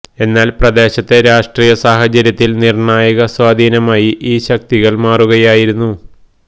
എന്നാല് പ്രദേശത്തെ രാഷ്ട്രീയ സാഹചര്യത്തില് നിര്ണായക സ്വാധീനമായി ഈ ശക്തികള് മാറുകയായിരുന്നു